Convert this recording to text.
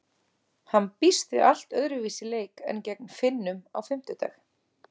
Hann býst við allt öðruvísi leik en gegn Finnum á fimmtudag.